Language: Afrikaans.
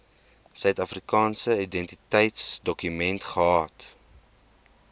suidafrikaanse identiteitsdokument gehad